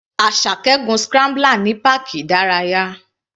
Asake gun scrambler ní páàkì ìdárayá.